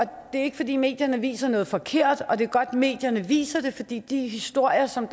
det er ikke fordi medierne viser noget forkert og det er godt medierne viser det fordi de historier som